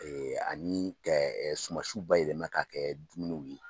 Ani ka sumansiw bayɛlɛma k'a kɛ dumuniw ye